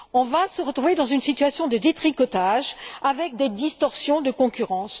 On va se retrouver dans une situation de détricotage, avec des distorsions de concurrence.